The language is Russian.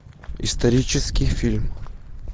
исторический фильм